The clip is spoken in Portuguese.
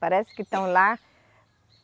Parece que estão lá.